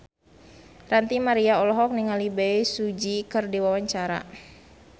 Ranty Maria olohok ningali Bae Su Ji keur diwawancara